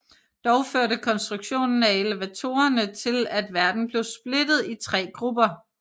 Dog førte konstruktionen af elevatorerne til at verden blev splittet i tre grupper